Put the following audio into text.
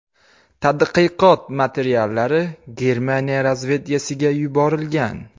Tadqiqot materiallari Germaniya razvedkasiga yuborilgan.